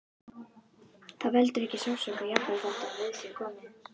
Það veldur ekki sársauka, jafnvel þótt við það sé komið.